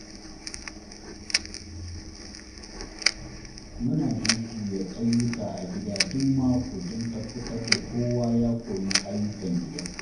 Muna jujjuya aiyuka a gida duk mako don tabbatar da kowa ya koyi ayyukan gida.